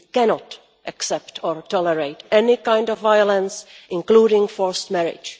We cannot accept or tolerate any kind of violence, including forced marriage.